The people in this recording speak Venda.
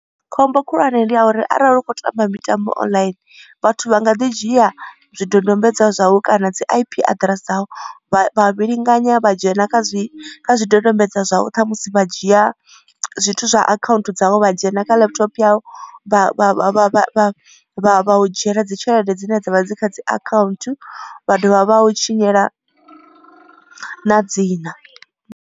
Khombo khulwane ndi ya uri arali u kho tamba mitambo online vhathu vha nga ḓi dzhia zwidodombedzwa zwau kana dzi I_P aḓirese dzau. Vha vhilinganya vha dzhena kha zwi kha zwidodombedzwa zwau ṱhamusi vha dzhia zwithu zwa account dzavho vha dzhena kha laptop yau vha vha vha vha u dzhiela dzi tshelede dzine dzavha dzi kha dzi account vha dovha vha u tshinyela na dzina.